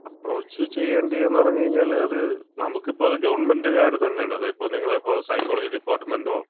Approach ചെയ്യണ്ടേന്ന് പറഞ്ഞ് കഴിഞ്ഞാല്, അത് നമ്മൾക്ക് ഇപ്പം അത് ഗവൺമെന്‍റ്കാര് തന്നെയാണ്. ഇപ്പം നിങ്ങളെപോലെ സൈക്കോളജി ഡിപ്പാർട്ട്മെന്‍റൊ,